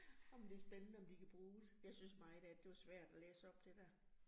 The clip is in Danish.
Nåh men det spændende, om de kan bruges. Jeg synes meget af det, det var svært at læse op det dér